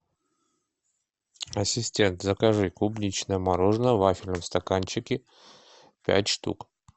ассистент закажи клубничное мороженое в вафельном стаканчике пять штук